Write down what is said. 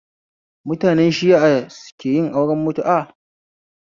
Mutane shias keyin auren mutu'a